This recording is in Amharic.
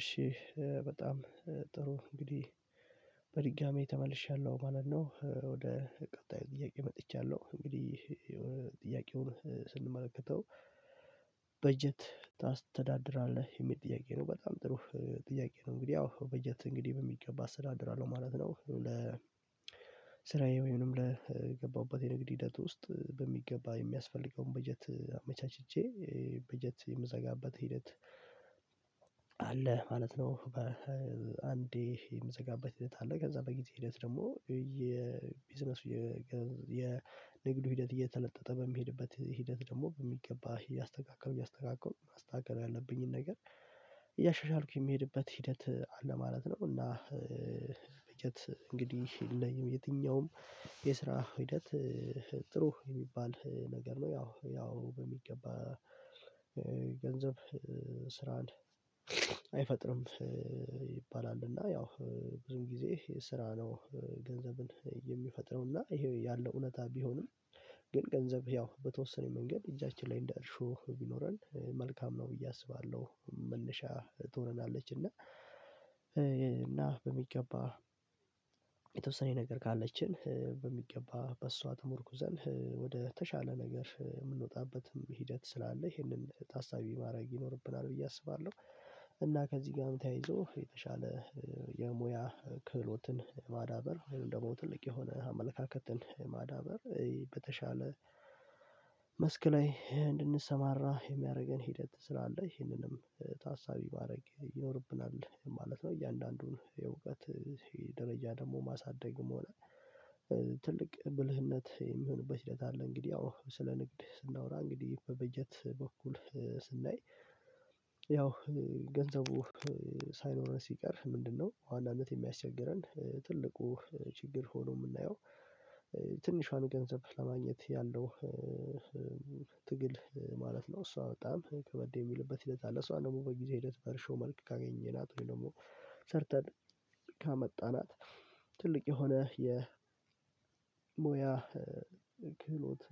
እሺ በጣም ጥሩ እንግዲህ በድጋሚ ተመልሻለሁ ማለት ነው ወደ ቀጣይ ጥያቄ መጥቻለሁ። እንግዲህ ጥያቄውን ስንመለከተው በጀት ታስተዳድራለህ የሚል ጥያቄ ነው በጣም ጥሩ ጥያቄ ነው። እንግዲህ ያው በጀት እንግዲህ በሚገባ አስተዳድራለሁ ማለት ነው። ለ ስራዬ ወይም ለገባሁበት የንግድ ሂደት ውስጥ በሚገባ የሚያስፈልገውን በጀት አመቻችቼ በጀት የምዘጋበት ሂደት አለ ማለት ነው። በአንዴ የምዘጋበት ሂደት አለ ከዛ በጊዜ ሂደት ደግሞ የቢዝነሱ የንግዱ ሂደት እየተለጠጠ በሚሄድበት ሂደት ደግሞ በሚገባ እያስተካከልኩ እያስተካከልኩ ማስተካከል ያለብኝን ነገር እያሻሻልኩኝ የምሄድበት ሂደት አለ ማለት ነው። እና በጀት እንግዲህ የለኝም። የትኛውም የስራ ሂደት ጥሩ የሚባል ነገር ነው ያው ያው በሚገባ ገንዘብ ስራን አይፈጥርም ይባላል። እና ያው ብዙም ጊዜ ስራ ነው ገንዘብን የሚፈጥረው ይሄ ያለው እውነታ ቢሆንም ግን ገንዘብ ያው በተወሰነ መንገድ እጃችን ላይ እንደ እርሾ ቢኖረን መልካም ነው ብዬ አስባለሁ። መነሻ ትሆነናለች እና እና በሚገባ የተወሰነ ነገር ካለችን በሚገባ በሷ ተሞርኩዘን ወደ ተሻለ ነገር የምንወጣበትም ሂደት ስላለ ይሄንን ታሳቢ ማድረግ ይኖርብናል ብዬ አስባለሁ። እና ከዚህ ጋርም ተያይዞ የተሻለ የሙያ ክህሎትን ማዳበር ወይም ደግሞ ትልቅ የሆነ አመለካከትን ማዳበር በተሻለ መስክ ላይ እንድንሰማራ የሚያደርገን ሂደት ስላለ ይህንንም ታሳቢ ማድረግ ይኖርብናል ማለት ነው። እያንዳንዱን የእውቀት ይሄ ደረጃ ደግሞ ማሳደግም ሆነ ትልቅ ብልህነት የሚሆንበት ሂደት አለ። እንግዲህ ያው ስለ ንግድ ስናወራ እንግዲህ በበጀት በኩል ስናይ ያው ገንዘቡ ሳይኖረን ሲቀር ምንድነው አንዳንዴ የሚያስቸግረን ትልቁ ችግር ሆኖ የምናየው ትንሿን ገንዘብ ለማግኘት ያለው ትግል ማለት ነው። እሷ በጣም ከበድ የሚልበት ሂደት አለ። እሷ ደግሞ በጊዜ ሂደት በርሾ መልክ ካገኘናት ወይ ደግሞ ሰርተን ካመጣናት ትልቅ የሆነ የሞያ ክህሎት